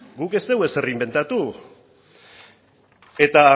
guk ez dugu ezer inbentatu eta